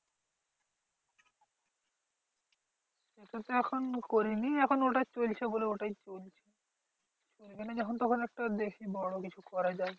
ওটা তো এখন করিনি এখন ওটা চলছে বলে ওটাই চলছে। এখানে যখন তখন একটা দেখি বড় কিছু করা যায়।